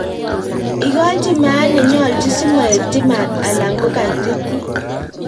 Ikochi maat nenyolchin simoetyi maat alan kokaititit.